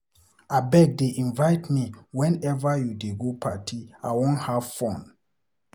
Abeg dey invite me whenever you dey go party, I wan have fun.